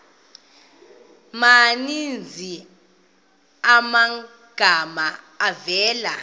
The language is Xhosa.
maninzi amagama avela